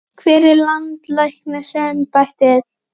Hvar er landlæknisembættið?